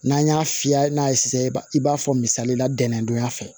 N'an y'a fiyɛ n'a ye sisan i b'a i b'a fɔ misalila dɛndonya fɛ